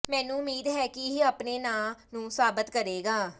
ਮੈਨੂੰ ਉਮੀਦ ਹੈ ਕੇ ਇਹ ਆਪਣੇ ਨਾਂ ਨੂੰ ਸਾਬਤ ਕਰੇਗਾ